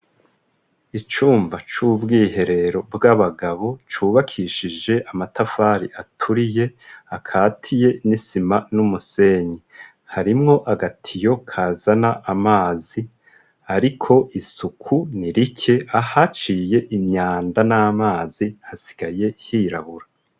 Icumba c'ubwiherero bw'abagabo cubakishije amatafari aturiye akatiye n'isima n'umusenyi harimwo agatiyo kazana amazi ariko isuku nirike ahaciye imyanda n'amazi hasigaye hirabura.